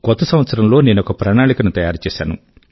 కొత్త సంవత్సరం లో నేనొక ప్రణాళిక ను తయారు చేసాను